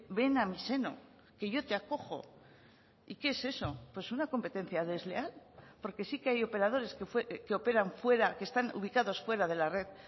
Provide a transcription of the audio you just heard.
ven a mi seno que yo te acojo y qué es eso pues una competencia desleal porque sí que hay operadores que operan fuera que están ubicados fuera de la red